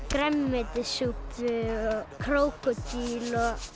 grænmetissúpu krókódíl